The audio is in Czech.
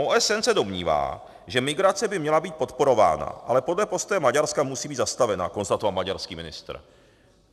OSN se domnívá, že migrace by měla být podporována, ale podle postoje Maďarska musí být zastavena, konstatoval maďarský ministr.